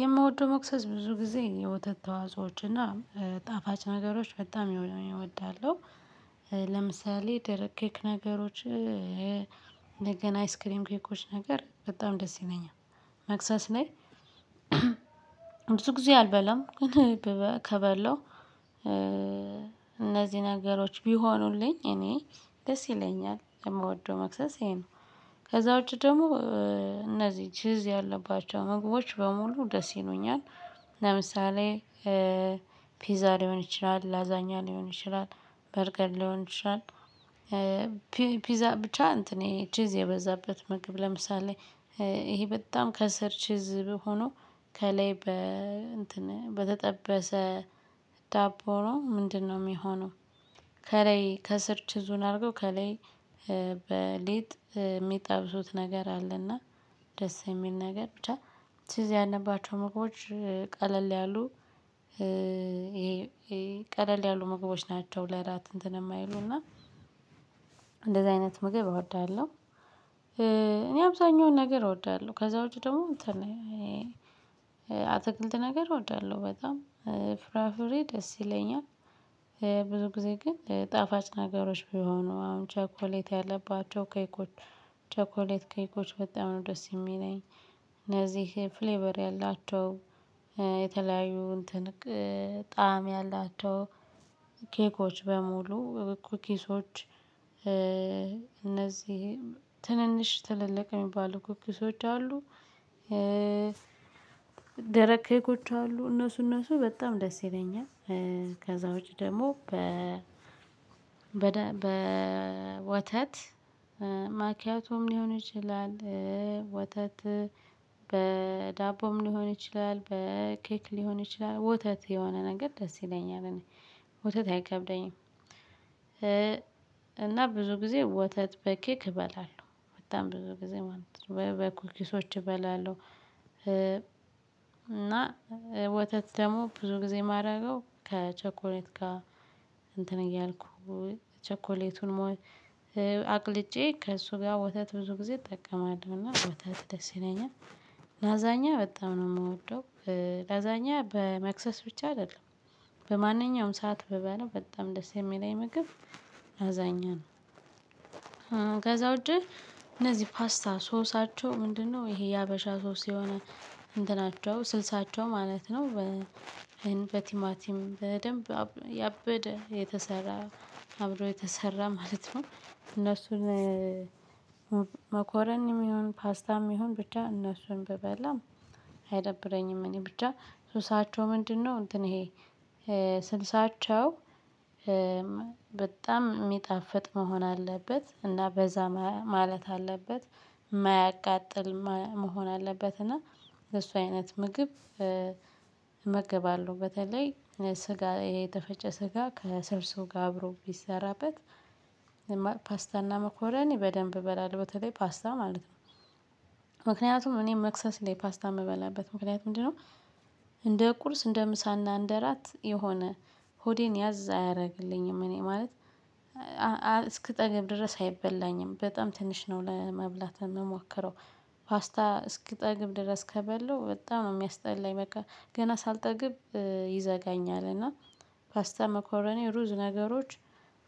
የምወደው መክሰስ ብዙ ጊዜ የወተት ተዋጾዎች እና ጣፋጭ ነገሮች በጣም እወዳለው። ለምሳሌ ደረቅ ኬክ ነገሮች እንደገና አይስክሪም ኬኮች ነገር በጣም ደስ ይለኛል። መክሰስ ላይ ብዙ ጊዜ አልበላም። ግን ከበለው እነዚህ ነገሮች ቢሆኑልኝ እኔ ደስ ይለኛል። የምወደው መክሰስ ይሄ ነው። ከዛ ውጪ ደግሞ እነዚህ ችዝ ያለባቸው ምግቦች በሙሉ ደስ ይሉኛል። ለምሳሌ ፒዛ ሊሆን ይችላል። ላዛኛ ሊሆን ይችላል። በርገር ሊሆን ይችላል። ፒዛ ብቻ እንትን ይሄ ቺዝ የበዛበት ምግብ ለምሳሌ ይሄ በጣም ከስር ቺዝ ሆኖ ከላይ እንትን በተጠበሰ ዳቦ ሆኖ ምንድነው የሚሆነው ከላይ ከስር ቺዙን አድርገው ከላይ በሊጥ የሚጠብሱት ነገር አለ። እና ደስ የሚል ነገር ብቻ ቺዝ ያለባቸው ምግቦች ቀለል ያሉ ቀለል ያሉ ምግቦች ናቸው። ለእራት እንትን የማይሉና እንደዚህ አይነት ምግብ እወዳለሁ። እኔ አብዛኛውን ነገር እወዳለሁ። ከዛ ውጪ ደግሞ እንትን አትክልት ነገር እወዳለሁ። በጣም ፍራፍሬ ደስ ይለኛል። ብዙ ጊዜ ግን ጣፋጭ ነገሮች ቢሆኑ አሁን ቸኮሌት ያለባቸው ኬኮች ቸኮሌት ኬኮች በጣም ነው ደስ የሚለኝ። እነዚህ ፍሌቨር ያላቸው የተለያዩ እንትን ጣዕም ያላቸው ኬኮች በሙሉ ኩኪሶች እነዚህ ትንንሽ ትልልቅ የሚባሉ ኩኪሶች አሉ። ደረቅ ኬኮች አሉ እነሱ እነሱ በጣም ደስ ይለኛል ከዛ ውጪ ደግሞ በ በወተት ማኪያቶም ሊሆን ይችላል ወተት በዳቦም ሊሆን ይችላል። በኬክ ሊሆን ይችላል። ወተት የሆነ ነገር ደስ ይለኛል እኔ። ወተት አይከብደኝም። እና ብዙ ጊዜ ወተት በኬክ እበላለሁ። በጣም ብዙ ጊዜ ማለት ነው። በኩል ኪሶች እበላለሁ እና ወተት ደግሞ ብዙ ጊዜ የማደርገው ከቸኮሌት ጋር እንትን እያልኩ ቸኮሌቱን ሞል አቅልጬ ከእሱ ጋር ወተት ብዙ ጊዜ እጠቀማለሁና ወተት ደስ ይለኛል። ላዛኛ በጣም ነው የምወደው። ላዛኛ በመክሰስ ብቻ አይደለም። በማንኛውም ሰዓት ብበላው በጣም ደስ የሚለኝ ምግብ ላዛኛ ነው። ከዛ ውጪ እነዚህ ፓስታ ሶሳቸው ምንድነው ይሄ የሀበሻ ሶስ የሆነ እንትናቸው ስልሳቸው ማለት ነው በቲማቲም በደንብ ያበደ የተሰራ አብሮ የተሰራ ማለት ነው። እነሱን መኮረኒም ይሁን ፓስታም ይሁን ብቻ እነሱን ብበላም አይደብረኝም እኔ። ብቻ ሱሳቸው ምንድነው እንትን ይሄ ስልሳቸው በጣም የሚጣፍጥ መሆን አለበት። እና በዛ ማለት አለበት። የማያቃጥል መሆን አለበት። እና የሱ አይነት ምግብ እመገባለሁ። በተለይ ስጋ የተፈጨ ስጋ ከሰርሶ ጋር አብሮ ቢሰራበት ፓስታና መኮረኒ በደንብ እበላለሁ። በተለይ ፓስታ ማለት ነው። ምክንያቱም እኔ መክሰስ ላይ ፓስታ የምበላበት ምክንያት ምንድነው። እንደ ቁርስ እንደ ምሳና እንደ ራት የሆነ ሆዴን ያዝ አያደርግልኝም እኔ ማለት እስክጠግብ ድረስ አይበላኝም። በጣም ትንሽ ነው ለመብላት የምሞክረው። ፓስታ እስክጠግብ ድረስ ከበለው በጣም ነው የሚያስጠላኝ። በቃ ገና ሳልጠግብ ይዘጋኛል። እና ፓስተ መኮረኔ ሩዝ ነገሮች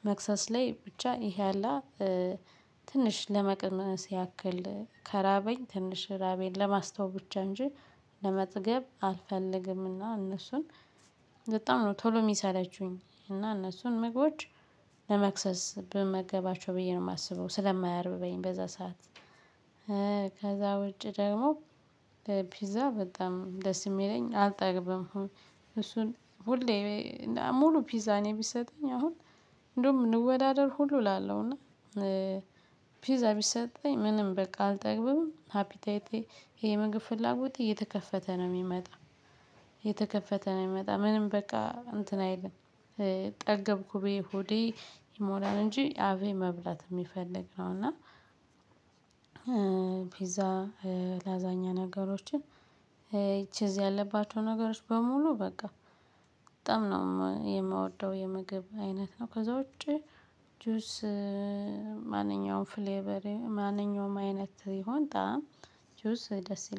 መክሰስ ላይ ብቻ ይሄ አላ ትንሽ ለመቅመስ ያክል ከራበኝ ትንሽ ራቤን ለማስተው ብቻ እንጂ ለመጠገብ አልፈልግም። እና እነሱን በጣም ነው ቶሎ የሚሰለቹኝ። እና እነሱን ምግቦች ለመክሰስ ብመገባቸው ብዬ ነው የማስበው ስለማያርብ በይን በዛ ሰዓት ከዛ ውጪ ደግሞ በፒዛ በጣም ደስ የሚለኝ አልጠግብም። እሱን ሁሌ ሙሉ ፒዛ እኔ ቢሰጠኝ አሁን እንደውም እንወዳደር ሁሉ እላለሁ። እና ፒዛ ቢሰጠኝ ምንም በቃ አልጠግብም። ሃፒታይቴ የምግብ ፍላጎቴ እየተከፈተ ነው የሚመጣ። እየተከፈተ ነው የሚመጣ ምንም በቃ እንትን አይልም ጠገብኩ ብዬ ሆዴ ይሞላን እንጂ አፌ መብላት የሚፈልግ ነው እና ፒዛ ላዛኛ ነገሮችን ቺዝ ያለባቸው ነገሮች በሙሉ በቃ በጣም ነው የምወደው የምግብ አይነት ነው። ከዛ ውጪ ጁስ ማንኛውም ፍሌቨር ማንኛውም አይነት ይሁን ጣዕም ጁስ ደስ ይለኛል።